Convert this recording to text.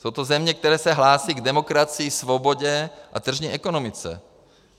Jsou to země, které se hlásí k demokracii, svobodě a tržní ekonomice.